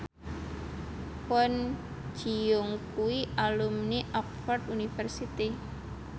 Kwon Ji Yong kuwi alumni Oxford university